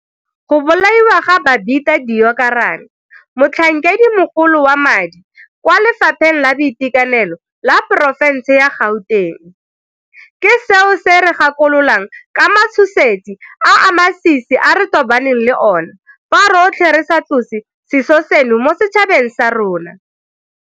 Go bolaiwa ga Babita Deokaran, motlhankedimogolo wa madi kwa Lefapheng la Boitekanelo la porofense ya Gauteng, ke seo se re gakololang ka matshosetsi a a masisi a re tobaneng le ona fa rotlhe re sa tlose seso seno mo setšhabeng sa rona.